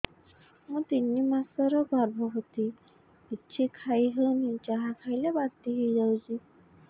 ମୁଁ ତିନି ମାସର ଗର୍ଭବତୀ କିଛି ଖାଇ ହେଉନି ଯାହା ଖାଇଲେ ବାନ୍ତି ହୋଇଯାଉଛି